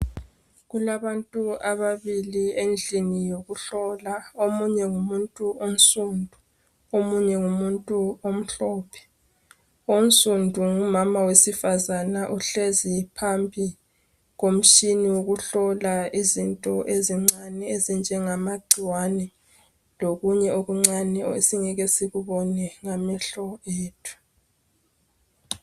Kulabantu ababili endlini yokuhlola omunye ngumuntu onsundu omunye ngumuntu omhlophe onsundu ngumama wesifazana uhlezi phambi komtshina wokuhlola izinto ezincani ezinjengagcikwani lokunye okuncani esingeke sikubone ngamehlo ethu